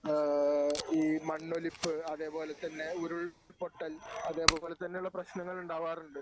ഏഹ് ഈ മണ്ണൊലിപ്പ് അതേപോലെതന്നെ ഉരുൾപൊട്ടൽ അതേപോലെതന്നെയുള്ള പ്രശ്നങ്ങൾ ഉണ്ടാകാറുണ്ട്.